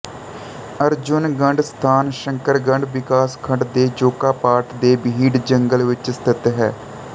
ਅਰਜੁੰਨਗਢ ਸਥਾਨ ਸ਼ੰਕਰਗਢ ਵਿਕਾਸਖੰਡ ਦੇ ਜੋਕਾਪਾਟ ਦੇ ਬੀਹਡ ਜੰਗਲ ਵਿੱਚ ਸਥਿਤ ਹੈ